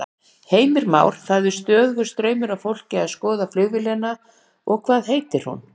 Heimir Már: Það er stöðugur straumur af fólki að skoða flugvélina og hvað heitir hún?